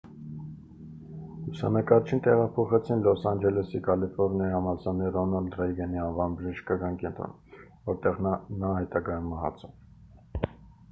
լուսանկարչին տեղափոխեցին լոս անջելեսի կալիֆորնիայի համալսարանի ռոնալդ ռեյգանի անվան բժշկական կենտրոն որտեղ նա հետագայում մահացավ